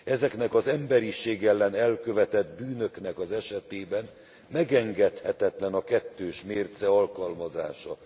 Ezeknek az emberiség ellen elkövetett bűnöknek az esetében megengedhetetlen a kettős mérce alkalmazása.